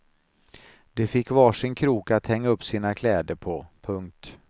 De fick var sin krok att hänga upp sina kläder på. punkt